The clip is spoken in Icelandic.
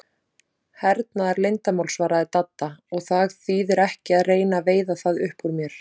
Hernaðarleyndarmál svaraði Dadda, og það þýðir ekki að reyna að veiða það upp úr mér